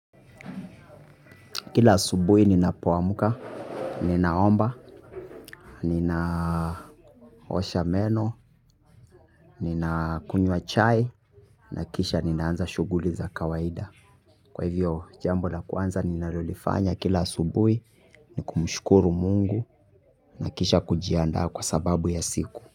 Kila subuhi ninapo amka, ninaomba, ninaosha meno, nina kunywa chai, na kisha ninaanza shuguli za kawaida. Kwa hivyo jambo la kwanza ninalolifanya kila subuhi, ni kumushkuru mungu, na kisha kujiandaa kwa sababu ya siku.